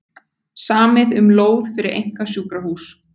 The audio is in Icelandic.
Samið um lóð fyrir einkasjúkrahús